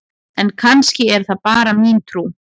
en kannski er það bara mín trú!